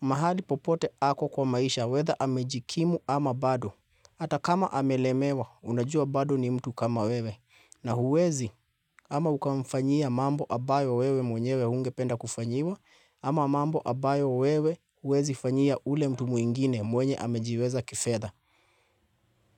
mahali popote ako kwa maisha, weather amejikimu ama bado. Hata kama amelemewa, unajua bado ni mtu kama wewe. Na huwezi, ama ukamfanyia mambo ambayo wewe mwenyewe hungependa kufanyiwa, ama mambo ambayo wewe huwezi fanyia ule mtu mwingine mwenye amejiweza kifedha.